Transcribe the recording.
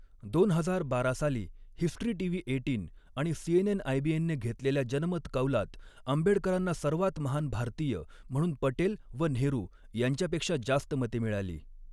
दोन हजार बारा साली हिस्ट्री टीव्ही एटीन आणि सीएनएन आयबीएनने घेतलेल्या जनमतकौलात आंबेडकरांना 'सर्वांत महान भारतीय म्हणून पटेल व नेहरू यांच्यापेक्षा जास्त मते मिळाली.